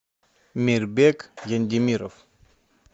мирбек яндемиров